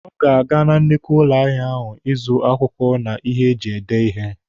Ọ ga-aga na nnukwu ụlọ ahịa ahụ ịzụ akwụkwọ na ihe eji ede ihe.